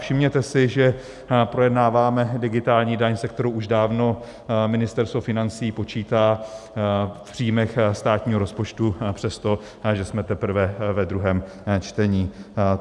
Všimněte si, že projednáváme digitální daň, se kterou už dávno Ministerstvo financí počítá v příjmech státního rozpočtu, přestože jsme teprve ve druhém čtení.